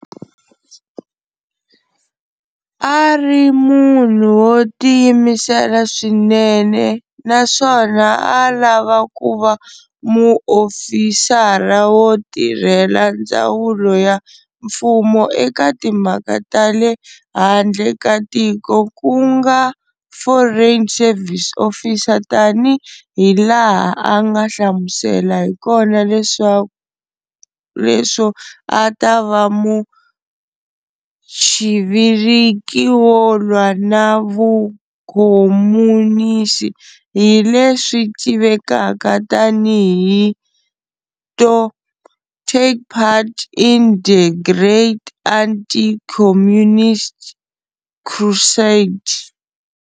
A a ri munhu wo tiyimisela swinene na swona a a lava ku va muofisara wo tirhela ndzawulo ya mfumo eka timhaka ta le handle ka tiko ku nga foreign service officer tani hi laha a nga hlamusela hi kona leswo a ta va muchiviriki wo lwa na vukomunisi hi leswi tivekaka tani hi to, "take part in the great anti-Communist crusade".